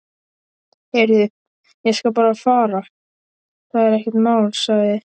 Heyrðu, ég skal bara fara, það er ekkert mál sagði